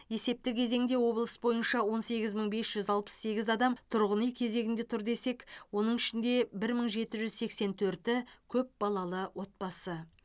есепті кезеңде облыс бойынша он сегіз мың бес жүз алпыс сегіз адам тұрғын үй кезегінде тұр десек оның ішінде бір мың жеті жүз сексен төрті көпбалалы отбасы